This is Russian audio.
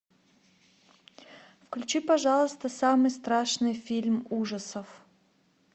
включи пожалуйста самый страшный фильм ужасов